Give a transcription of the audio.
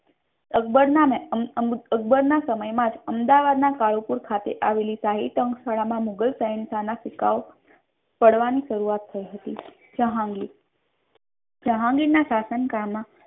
અકબર ના સમય માજ અહેમદાબાદ ના કાલુપુર ખાતે આવેલી શાહીતંક શાળા મા મુઘલ શહેનશાહ ના ચૂકવો પાડવાની શરૂઆત થઇ હતી. જેહાંગીર જેહાંગીર ના શાસન કાળ મા